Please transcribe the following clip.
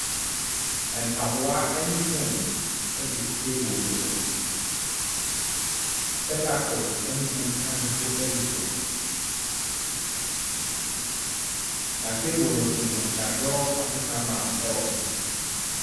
Mpaboa ne phone gu table bi so. Spectacles ne book nso so gu so, na table no so no, wɔadorɔ African map wɔ so.